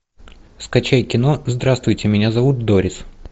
скачай кино здравствуйте меня зовут дорис